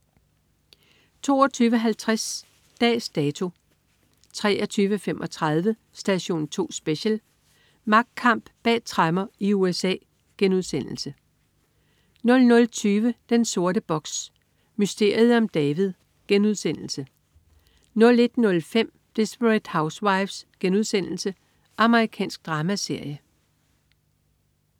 22.50 Dags Dato 23.35 Station 2 Special: Magtkamp bag tremmer i USA* 00.20 Den sorte box: Mysteriet om David* 01.05 Desperate Housewives.* Amerikansk dramaserie